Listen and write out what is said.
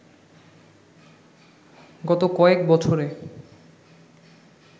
গত কয়েক বছরে